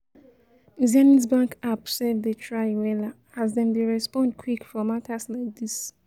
zenith bank app sef dey try wella as dem dey respond quick for matas like dis